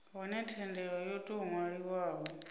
hone thendelo yo tou ṅwaliwaho